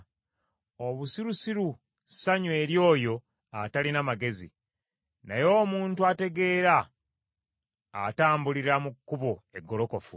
Obusirusiru ssanyu eri oyo atalina magezi, naye omuntu ategeera atambulira mu kkubo eggolokofu.